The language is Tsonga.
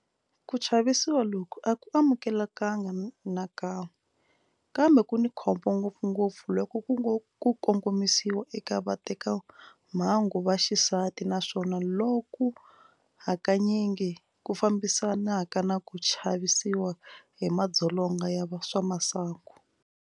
Ku chavisiwa loku a ku amukeleki nakan'we, kambe ku ni khombo ngopfungopfu loko ku kongomisiwa eka vatekamahungu va xisati naswona loku hakanyingi ku fambisanaka na ku chavisiwa hi madzolonga ya swa masangu.